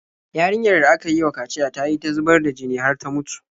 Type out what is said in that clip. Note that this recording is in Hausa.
Yarinyar da aka yi wa kaciya ta yi ta zubar da jini har ta mutu.